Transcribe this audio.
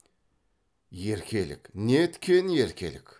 еркелік не еткен еркелік